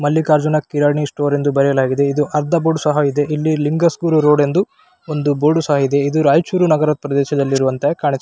Mallikarjuna Kirani store ಎಂದು ಬರೆಯಲಾಗಿದೆ ಇದು ಅರ್ಧ ಬೋರ್ಡ್ ಸಹ ಇದೆ ಇಲ್ಲಿ ಲಿಂಗ ಸ್ಕೂಲ್ ರೋಡ್ ಎಂದು ಬೋರ್ಡ್ ಸಹ ಇದೆ ಇದು ರೈಚೂರ್ನಗರ ಪ್ರದೇಶದಲ್ಲಿ ಕಾಣು --